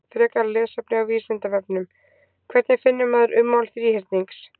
Frekara lesefni á Vísindavefnum: Hvernig finnur maður ummál þríhyrnings?